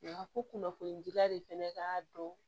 Wa ko kunnafonidira de fɛnɛ ka dɔn